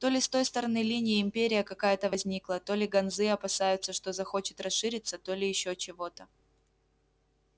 то ли с той стороны линии империя какая-то возникла то ли ганзы опасаются что захочет расшириться то ли ещё чего-то